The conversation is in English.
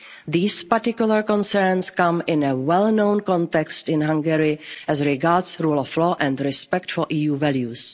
These particular concerns come in a well-known context in Hungary as regards rule of law and respect for